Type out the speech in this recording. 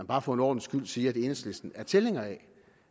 bare for en ordens skyld sige at enhedslisten også er tilhænger af